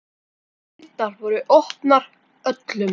Dyrnar voru opnar öllum.